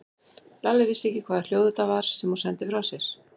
Lalli vissi ekki hvaða hljóð þetta var sem hún sendi frá sér.